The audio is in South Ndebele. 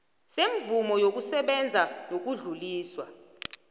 semvumo yokusebenza yokudluliswa